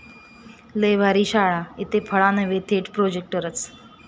लय भारी' शाळा, इथं फळा नव्हे थेट प्रोजेक्टरच!